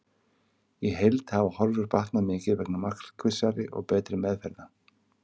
Í heild hafa horfur batnað mikið vegna markvissari og betri meðferða.